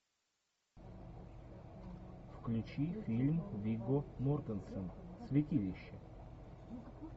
включи фильм вигго мортенсен святилище